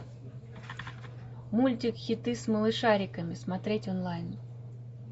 мультик хиты с малышариками смотреть онлайн